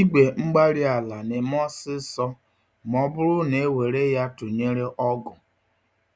igwe-mgbárí-ala némè' ọsịsọ m'ọbụrụ newere ya tụnyere ọgụ,